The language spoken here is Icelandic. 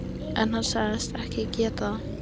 En hann sagðist ekki geta það.